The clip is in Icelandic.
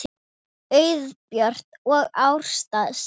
Auður Björt og Ásta Steina.